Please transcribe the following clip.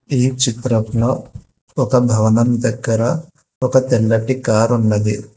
ఈ చిత్రంలో ఒక భవనం దగ్గర ఒక తెల్లటి కార్ ఉన్నది.